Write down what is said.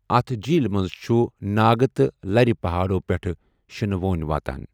اتھ جیٖل منٛز چھُ ناگہٕ تہٕ لرِ پہاڑو پٮ۪ٹھ شنہٕ وونۍ واتان۔